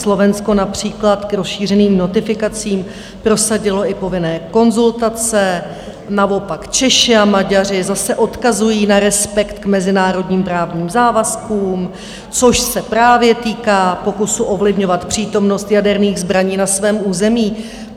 Slovensko například k rozšířeným notifikacím prosadilo i povinné konzultace, naopak Češi a Maďaři zase odkazují na respekt k mezinárodním právním závazkům, což se právě týká pokusu ovlivňovat přítomnost jaderných zbraní na svém území.